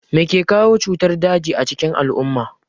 Mai ke kawo cutar daji a cikin al'umma?